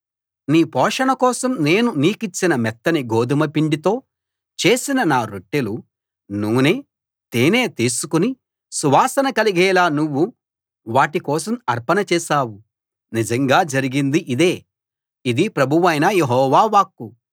నీ పోషణ కోసం నేను నీకిచ్చిన మెత్తని గోదుమ పిండితో చేసిన నా రొట్టెలు నూనె తేనె తీసుకుని సువాసన కలిగేలా నువ్వు వాటి కోసం అర్పణ చేశావు నిజంగా జరిగింది ఇదే ఇది ప్రభువైన యెహోవా వాక్కు